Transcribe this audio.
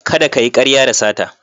Kada kayi karya da sata.